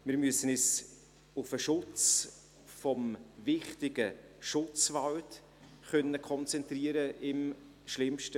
Wir müssen uns im schlimmsten Fall auf den Schutz des wichtigen Schutzwaldes konzentrieren können.